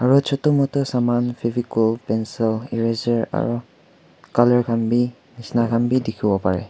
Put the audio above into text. aru chota mota saman favicol pencil eareser aru colour khan bhi bisna khan bhi dekhi bo pare.